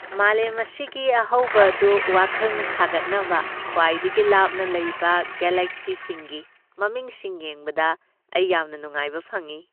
ꯃꯥꯂꯦꯝ ꯑꯁꯤꯒꯤ ꯑꯍꯧꯕ ꯑꯗꯨ ꯋꯥꯈꯜꯅ ꯁꯥꯒꯠꯅꯕ ꯈ꯭ꯋꯥꯏꯗꯒꯤ ꯂꯥꯞꯅ ꯂꯩꯕ ꯒꯦꯂꯦꯛꯁꯤꯁꯤꯡꯒꯤ ꯃꯃꯤꯁꯤꯡ ꯌꯦꯡꯕꯗ ꯑꯩ ꯌꯥꯝꯅ ꯅꯨꯡꯉꯥꯏꯕ ꯐꯪꯏ꯫